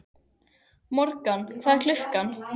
Morgan, hvað er klukkan?